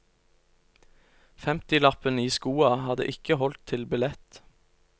Femtilappen i skoa hadde ikke holdt til billett.